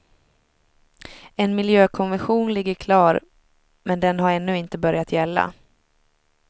En miljökonvention ligger klar men den har ännu inte börjat gälla.